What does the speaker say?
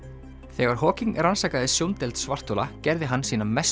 þegar rannsakaði sjóndeild svarthola gerði hann sína mestu